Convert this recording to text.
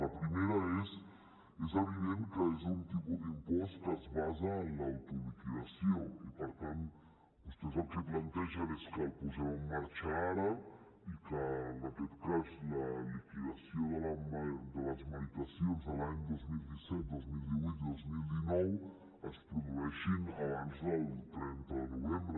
la primera és és evident que és un tipus d’impost que es basa en l’autoliquidació i per tant vostès el que plantegen és que el posem en marxa ara i que la liquidació de les meritacions de l’any dos mil disset dos mil divuit i dos mil dinou es produeixin abans del trenta de novembre